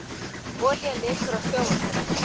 Olía lekur á sjávarbotninum